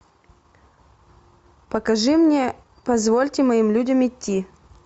покажи мне позвольте моим людям идти